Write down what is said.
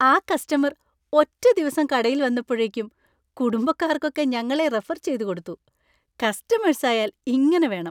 ആ കസ്റ്റമർ ഒറ്റ ദിവസം കടയിൽ വന്നപ്പോഴേക്കും കുടുംബക്കാർക്കൊക്കെ ഞങ്ങളെ റെഫർ ചെയ്തുകൊടുത്തു; കസ്റ്റമേഴ്‌സ് ആയാൽ ഇങ്ങനെ വേണം.